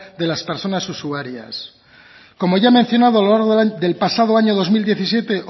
de las personas usuarias como ya he mencionado a lo largo del pasado año dos mil diecisiete